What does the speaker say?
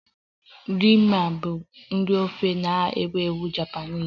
Ramen bụ nri ofe na-ewu ewu Japanese